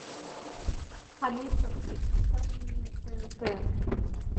алиса включи ка мне тнт